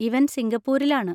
ഇവൻ സിംഗപ്പൂരിൽ ആണ്.